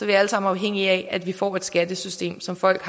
vi alle sammen afhængige af at vi får et skattesystem som folk